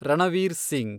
Ranveer Singh